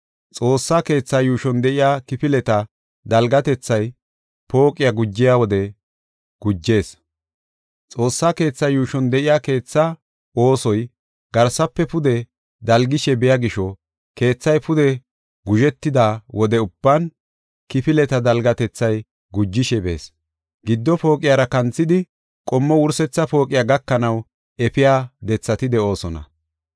Xoossa keethaa yuushon de7iya kifileta dalgatethay pooqey gujiya wode gujees. Xoossa keethaa yuushon de7iya keethaa oosoy garsafe pude dalgishe biya gisho keethay pude guzhetida wode ubban kifileta dalgatethay gujishe bees. Giddo pooqiyara kanthidi, qommo wursetha pooqiya gakanaw efiya dethati de7oosona.